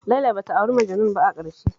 Laila ba ta auri Majanun ba a ƙarshe